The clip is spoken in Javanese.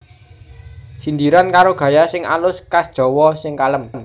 Sindiran karo gaya sing alus khas Jawa sing kalem